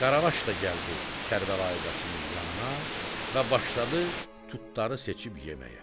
Qaravaş da gəldi Kərbəlayi Qasımın yanına və başladı tutları seçib yeməyə.